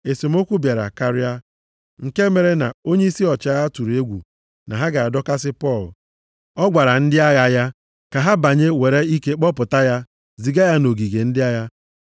Esemokwu a bịara karịa, nke mere na onyeisi ọchịagha tụrụ egwu na ha ga-adọkasị Pọl. Ọ gwara ndị agha ya ka ha banye were ike kpọpụta ya, ziga ya nʼogige ndị agha.